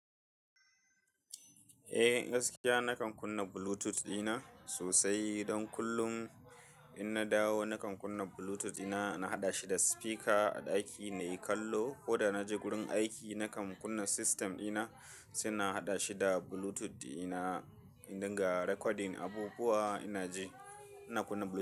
Eh gaskiya na kan kunna Bluetooth dina sosai don kullum in na dawo na kan kunna Bluetooth dina na haɗa shi da speaker a ɗaki na yi kallo ko da na je gurin aiki na kan kunna system dina, sai haɗa shi da Bluetooth dina in dinga recording abubuwa ina je. Ina kunna Bluetooth.